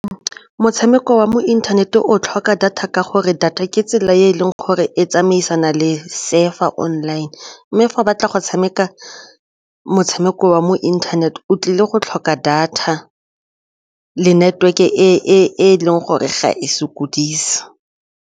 Motshameko wa mo inthanete o tlhoka data ka gore data ke tsela e e leng gore e tsamaisana le surf-a online mme fa o batla go tshameka motshameko wa mo internet o tlile go tlhoka data le network-e e leng gore ga e sokodise.